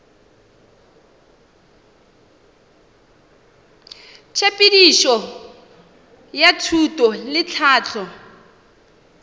tshepedišo ya thuto le tlhahlo